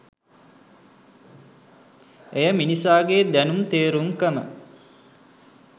එය මිනිසාගේ දැනුම් තේරුම්කම